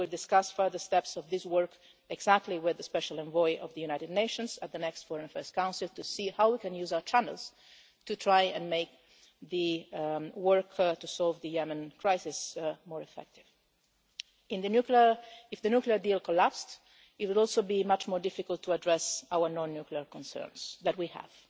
We will discuss further steps of this work exactly with the special envoy of the United Nations at the next Foreign Affairs Council to see how we can use our channels to try and make the work to solve the Yemen crisis more effective. If the nuclear deal collapsed, it would also be much more difficult to address our non-nuclear concerns that we